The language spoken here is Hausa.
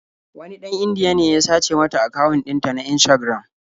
Wani ɗan Indiya ne ya sace mata akawun ɗinta na Instagram.